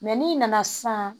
n'i nana sisan